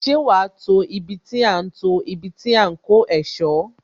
Ṣé wá to ibi tí a ń to ibi tí a ń kó ẹ̀sọ́?